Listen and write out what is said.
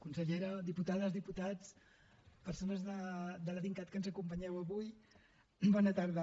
consellera diputades diputats persones de la dincat que ens acompanyeu avui bona tarda